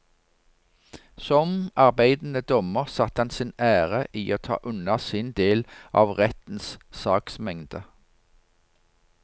Som arbeidende dommer satte han sin ære i å ta unna sin del av rettens saksmengde.